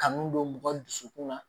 Kanu don mɔgɔ dusukun na